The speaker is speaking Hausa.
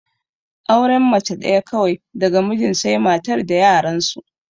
Auren mace ɗaya kawai daga mijin sai matar da yaran su